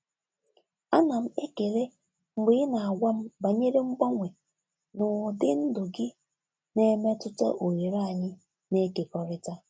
Ana m ekele mgbe ị na-agwa m banyere mgbanwe n'ụdị ndụ gị na-emetụta oghere anyị na-ekekọrịta.